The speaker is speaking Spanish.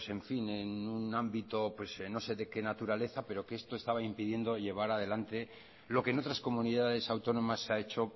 pues en fin en un ámbito pues no sé de qué naturaleza pero que esto estaba impidiendo llevar adelante lo que en otras comunidades autónomas se ha hecho